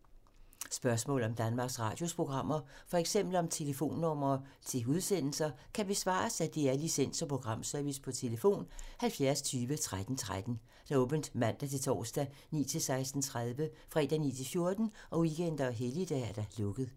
Spørgsmål om Danmarks Radios programmer, f.eks. om telefonnumre til udsendelser, kan besvares af DR Licens- og Programservice: tlf. 70 20 13 13, åbent mandag-torsdag 9.00-16.30, fredag 9.00-14.00, weekender og helligdage: lukket.